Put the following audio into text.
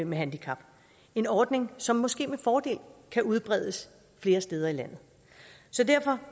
med handicap en ordning som måske med fordel kan udbredes flere steder i landet så derfor